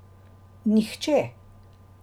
Nihče!